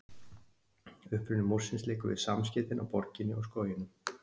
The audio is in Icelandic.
uppruni múrsins liggur við samskeytin á borginni og skóginum